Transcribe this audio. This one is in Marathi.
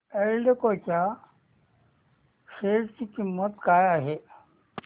एल्डेको च्या शेअर ची किंमत काय आहे